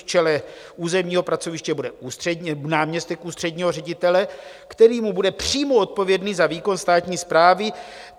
V čele územního pracoviště bude náměstek ústředního ředitele, který mu bude přímo odpovědný za výkon státní správy.